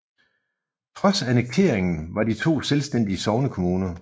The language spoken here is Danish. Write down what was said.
Trods annekteringen var de to selvstændige sognekommuner